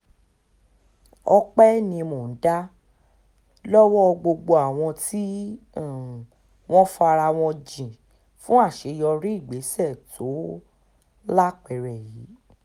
ọpẹ́ ni mò ń dá lọ́wọ́ gbogbo àwọn tí um wọ́n fara wọn jìn fún àṣeyọrí ìgbésẹ̀ tó um lápẹẹrẹ yìí